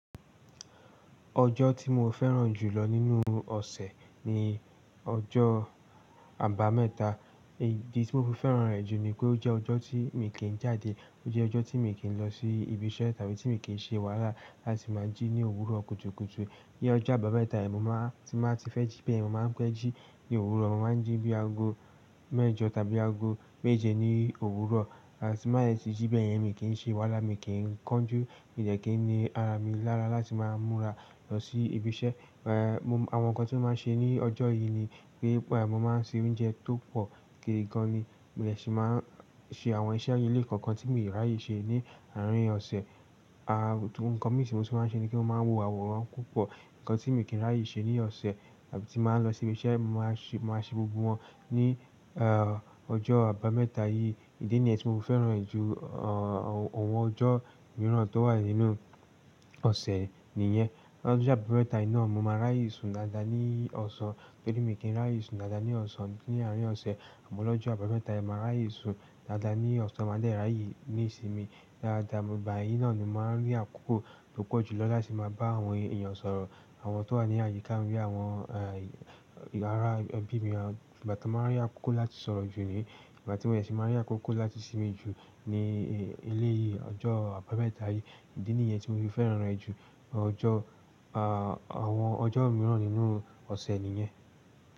Ọjọ́ tí mo fẹ́ràn jù lọ nínú ọ̀sẹ̀ ni ọjọ́ àbámẹ́ta. Igi tí mo fi fẹ́ràn rẹ̀ jù ni pé ó jẹ́ ọjọ́ tí mi kì í jáde, ó jẹ́ ọjọ́ tí mi kì í lọ sí ibi iṣẹ́ tàbí tí mi kì í ṣe wàhálà láti máa jí ní òwúrọ̀ kùtùkùtù. Ní ọjọ́ àbámẹ́ta yìí mo máa tí máa ti fẹ́ jí bẹ́ẹ̀, mo máa ń pẹ́ jí ní òwúrọ̀, mo máa ń jí bí aago mẹ́jọ tàbí aago méje ní òwúrọ̀, igbatí máa sì jí bẹ́ẹ̀ yẹn mi kì í ṣe wàhálà, mi kì í kánjú, mi dẹ̀ kín ni ara mi lára láti máa múra lọ sí ibi iṣẹ́. Ẹ̀ẹ̀. Àwọn nǹkan tí mo máa ṣe ní ọjọ́ yìí ni pé bẹ́ẹ̀ mo máa ń se oúnjẹ tó pọ̀ kì í gan ni, mi ò sì máa ń ṣe àwọn iṣẹ́ inú ilé kankan tí mi ò rí ayé ṣe ní àárín ọ̀sẹ̀. Aà nǹkan mi ti mo tun máa ń ṣe ni pe mo máa wo àwòrán púpọ̀, nǹkan tí mi kì í rí ayé ṣe ní ọ̀sẹ̀ tàbí tí màá lọ sí ibi iṣẹ́, màá ṣe, màá ṣe gbogbo wọn ní ẹ̀ ọjọ́ àbámẹ́ta yìí. Ìdí nìyẹn tí mo fi fẹ́ràn rẹ̀ jù awọ́n ọjọ́ mìíràn tó wà nínú ọ̀sẹ̀ nìyẹn. Lọ́jọ́ àbámẹ́ta yìí náà mo máa raye sun dáadáa ní ọ̀sán, tóri mi kì í raye sun dáadáa ní ọ̀sán ní àárín ọ̀sẹ̀. Àmọ́ lọ́jọ́ àbámẹ́ta yen, màá ríaye sun dáadáa ní ọ̀sán, màá dẹ̀ rí ayé ní ìsinmi dáadáa. Ìgbà yìí náà ni mo máa ń rí àkókò tó pọ̀ jù lọ láti máa bá àwọn èèyàn sọ̀rọ̀, àwọn tó wà ní àyíká bí i àwọn ẹ̀ ìyàrá ẹbí mi. Àbí ìgbà tí mo máa rí àkókò láti sọ̀rọ̀ jù ni, ìgbà tí mò dẹ sì máa rí àkókò láti sinmi jù ni ilé ọjọ́ àbámẹ́ta yìí. Ìdí nìyẹn tí mo fi fẹ́ràn rẹ̀ jù ọjọ́ àwọn ọjọ́ mìíràn nínú ọ̀sẹ̀ nìyẹn.